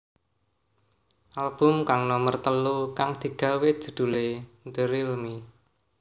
Album kang nomer telu kang digawé judhulé The Real Me